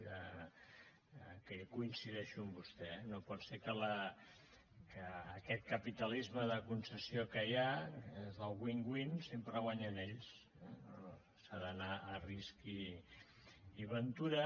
que jo coincideixo amb vostè eh no pot ser que amb aquest capitalisme de concessió que hi ha els del winwin sempre guanyen ells eh no no s’ha d’anar a risc i ventura